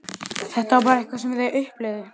Þetta var bara eitthvað sem þau upplifðu.